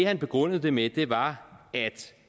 han begrundede det med var